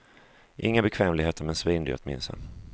Inga bekvämligheter men svindyrt, minns han.